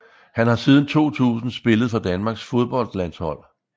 Han har siden 2000 spillet for Danmarks fodboldlandshold